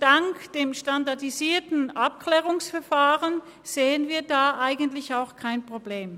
Dank dem SAV sehen wir da eigentlich auch kein Problem.